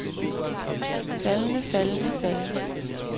faldende faldende faldende